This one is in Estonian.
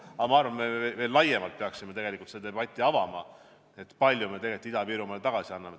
Aga ma arvan, et me peaksime veel laiemalt pidama seda debatti, kui palju me Ida-Virumaale tagasi anname.